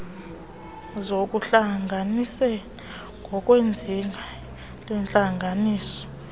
zokuhlanganisana ngokwezinga lentlanganiso